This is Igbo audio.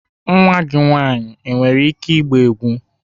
Nwa gị nwanyị nwere ike ịgba egwu?